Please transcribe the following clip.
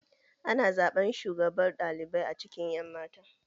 Ana zaɓen shugabar ɗalibai a cikin ƴan matan.